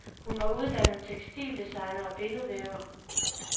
Hun var uddannet tekstildesigner og billedvæver.